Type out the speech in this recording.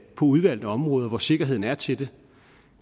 udvalgte områder hvor sikkerheden er til det